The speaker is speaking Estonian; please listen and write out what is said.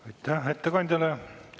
Aitäh ettekandjale!